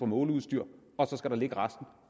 måleudstyret for